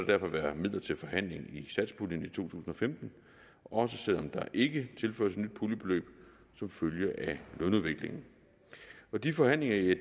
derfor være midler til forhandling i satspuljen i to tusind og femten også selv om der ikke tilføres et nyt puljebeløb som følge af lønudviklingen de forhandlinger